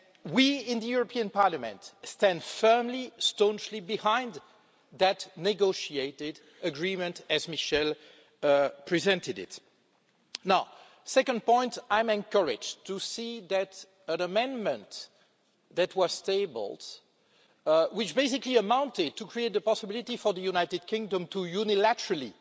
We in the European Parliament stand firmly and staunchly behind that negotiated agreement, as Michel Barnier presented it. My second point is that I'm encouraged to see that an amendment that was tabled which basically amounted to creating the possibility for the United Kingdom to unilaterally